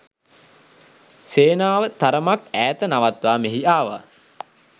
සේනාව තරමක් ඈත නවත්වා මෙහි ආවා